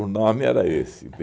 O nome era esse.